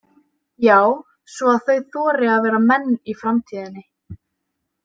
Já, svo að þau þori að vera menn í framtíðinni.